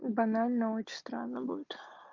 банально очень странно будет